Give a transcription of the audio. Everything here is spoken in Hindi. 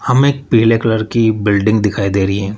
हमें पीले कलर की बिल्डिंग दिखाई दे रही है।